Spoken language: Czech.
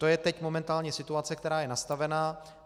To je teď momentálně situace, která je nastavená.